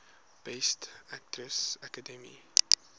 best actress academy